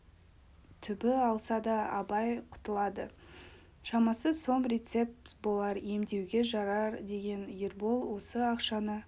түбі алса да абай құтылады шамасы сом рецепт болар емдеуге жарар деген ербол осы ақшаны